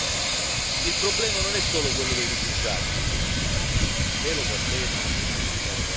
Il problema non è solo quello dei rifugiati, Presidente Juncker, lei lo sa bene e lo sa anche il Commissario Avramopoulos.